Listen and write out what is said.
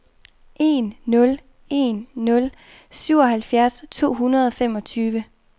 en nul en nul syvoghalvfjerds to hundrede og femogtyve